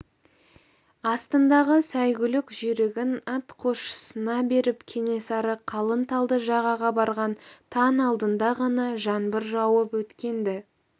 астындағы сәйгүлік жүйрігін атқосшысына беріп кенесары қалың талды жағаға барған таң алдында ғана жаңбыр жауып өткен-ді